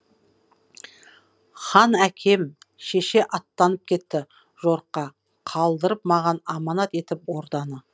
хан әкем шеше аттанып кетті жорыққа қалдырып маған аманат етіп орданы